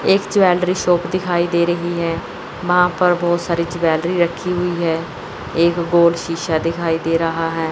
एक jewellery shop दिखाई दे रही है वहां पर बहोत सारी ज्वेलरी रखी हुई है एक बोर्ड शीशा दिखाई दे रहा है।